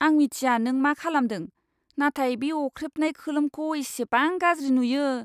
आं मिथिया नों मा खालामदों, नाथाय बे अख्रेबनाय खोलोमखौ इसेबां गाज्रि नुयो!